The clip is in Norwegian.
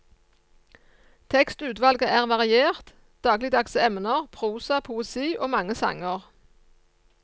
Tekstutvalget er variert, dagligdagse emner, prosa, poesi og mange sanger.